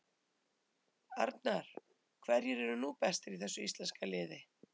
Arnar: Hverjir eru nú bestir í þessu íslenska liði?